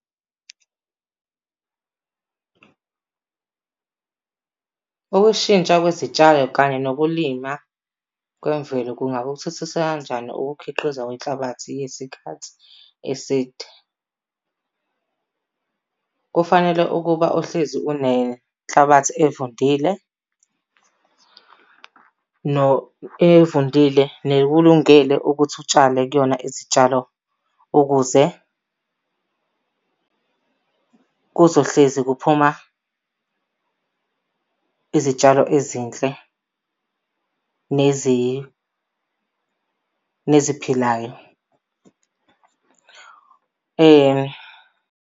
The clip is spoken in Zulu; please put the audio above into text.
Ukushintsha kwezitshalo kanye nokulima kwemvelo kungakuthuthukisa kanjani ukukhiqiza kwenhlabathi yesikhathi eside? Kufanele ukuba uhlezi unenhlabathi evundile, evundile nekulungele ukuthi utshale kuyona izitshalo ukuze kuzohlezi kuphuma izitshalo ezinhle neziphilayo .